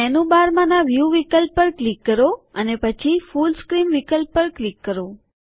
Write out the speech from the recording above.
મેનુબારમાંના view વિકલ્પ પર click કરો અને પછી ફુલ સ્ક્રીન વિકલ્પ પર ક્લિક કરો